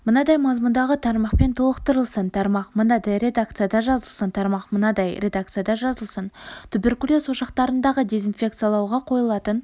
мынадай мазмұндағы тармақпен толықтырылсын тармақ мынадай редакцияда жазылсын тармақ мынадай редакцияда жазылсын туберкулез ошақтарындағы дезинфекциялауға қойылатын